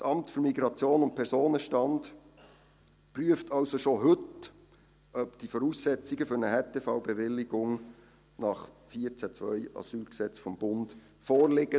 Das Amt für Migration und Personenstand (MIP) prüft somit schon heute, ob die Voraussetzungen für eine Härtefallbewilligung gemäss Absatz 2 AsylG des Bundes vorliegen.